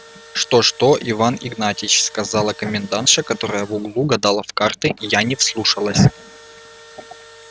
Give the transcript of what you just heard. что что иван игнатьич сказала комендантша которая в углу гадала в карты я не вслушалась